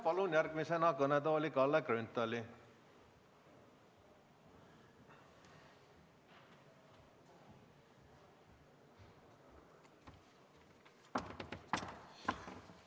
Palun järgmisena kõnetooli Kalle Grünthali!